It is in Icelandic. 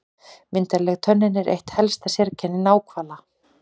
Myndarleg tönnin er eitt helsta sérkenni náhvala.